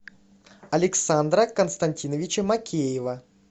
александра константиновича мокеева